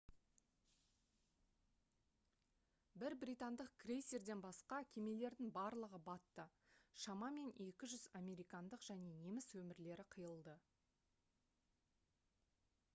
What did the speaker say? бір британдық крейсерден басқа кемелердің барлығы батты шамамен 200 американдық және неміс өмірлері қиылды